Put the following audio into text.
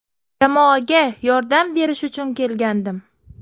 Jamoaga yordam berish uchun kelgandim.